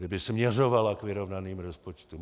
Kdyby směřovala k vyrovnaným rozpočtům.